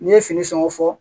N'i ye fini sɔngɔ fɔ